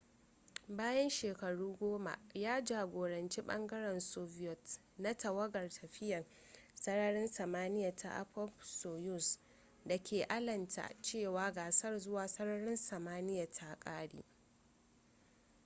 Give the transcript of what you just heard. bayan shekaru goma ya jagoranci ɓangaren soviet na tawagar tafiya sararin samaniya ta appop-soyuz da ke alamta cewa gasar zuwa sararin samaniya ta ƙare